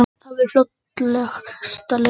Það væri fljótlegasta leiðin